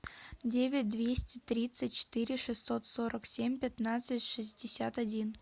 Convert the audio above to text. девять двести тридцать четыре шестьсот сорок семь пятнадцать шестьдесят один